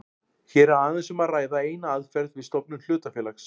Hér er aðeins um að ræða eina aðferð við stofnun hlutafélags.